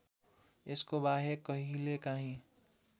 यसको बाहेक कहिलेकाहिँ